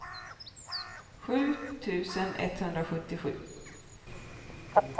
sju tusen etthundrasjuttiosju